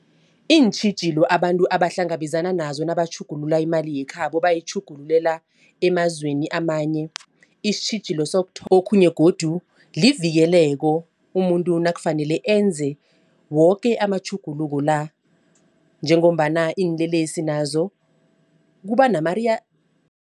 Iintjhijilo abantu abahlangabezana nazo nabatjhugulula imali yekhabo nabayitjhugulula emazweni amanye isitjhijilo okhunye godu livikeleko umuntu nakufanele enze woke amatjhuguluko la njengombana iinlelesi nazo kuba